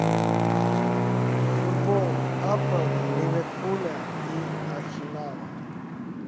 футбол апл ливерпуля и арсенала